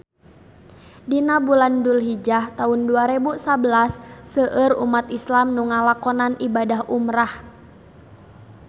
Dina bulan Dulhijah taun dua rebu sabelas seueur umat islam nu ngalakonan ibadah umrah